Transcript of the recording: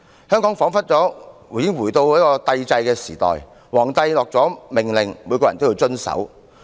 香港彷彿回到帝制時代，皇帝頒下命令，每個人均要遵守。